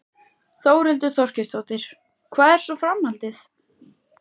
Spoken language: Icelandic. Þórhildur Þorkelsdóttir: Hvað er svo framhaldið?